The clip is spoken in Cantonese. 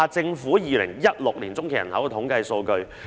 再看看政府的2016年中期人口統計數據。